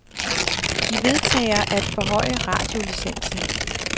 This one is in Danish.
De vedtager at forhøje radiolicensen.